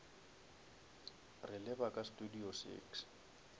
re leba ka studio six